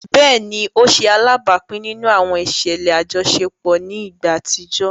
Béèni, o ṣe alábápin nínú àwọn iṣẹlẹ ajọṣepọ ni ìgbà àtijọ